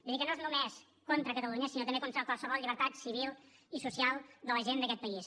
vull dir que no és només contra catalunya sinó també contra qualsevol llibertat civil i social de la gent d’aquest país